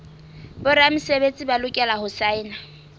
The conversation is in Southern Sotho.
boramesebetsi ba lokela ho saena